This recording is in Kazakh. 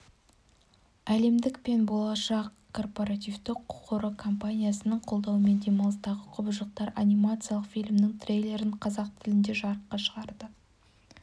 әлемдік пен болашақ корпоративті қоры компаниясының қолдауымен демалыстағы құбыжықтар анимациялық фильмінің трейлерін қазақ тілінде жарыққа шығарды